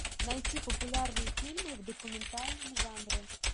найти популярные фильмы в документальном жанре